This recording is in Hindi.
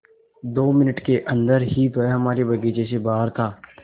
दो मिनट के अन्दर ही वह हमारे बगीचे से बाहर था